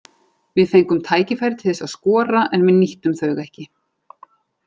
Við fengum tækifæri til þess að skora en við nýttum þau ekki.